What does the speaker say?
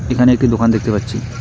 এখানে একটি দোকান দেখতে পাচ্ছি।